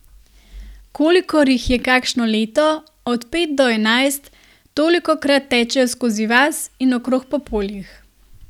Kolikor jih je kakšno leto, od pet do enajst, tolikokrat tečejo skozi vas in okrog po poljih.